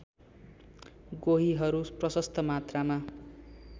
गोहीहरू प्रशस्त मात्रामा